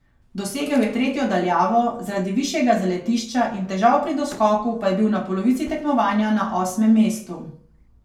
Dosegel je tretjo daljavo, zaradi višjega zaletišča in težav pri doskoku pa je bil na polovici tekmovanja na osmem mestu.